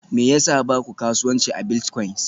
Me yasa ba ku kasuwanci a biltcoins?